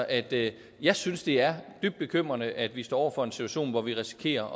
at jeg synes det er dybt bekymrende at vi står over for en situation hvor vi risikerer